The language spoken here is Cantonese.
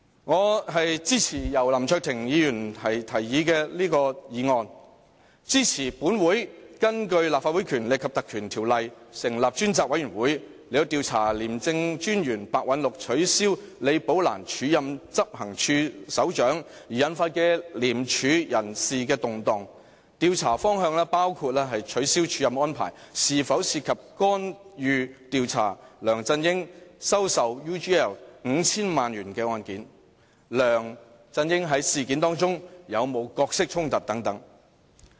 我支持由林卓廷議員提出的議案，支持本會引用《條例》成立專責委員會，調查廉政專員白韞六取消李寶蘭署任執行處首長而引發的廉署人事動盪，調查方向包括取消署任安排是否涉及干預調查梁振英收受 UGL 5,000 萬元的案件，梁振英在事件中有沒有角色衝突等。